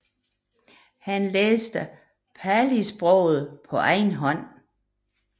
Han lærte Palisproget på egen hånd